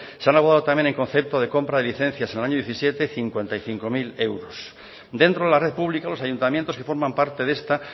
se han abordado también en concepto de comprar de licencias en el año dos mil diecisiete cincuenta y cinco mil euros dentro de la red pública los ayuntamientos que forman parte de esta